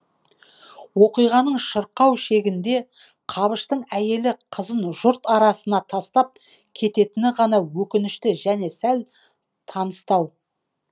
оқиғаның шырқау шегінде қабыштың әйелі қызын жұрт арасына тастап кететіні ғана өкінішті және сәл таныстау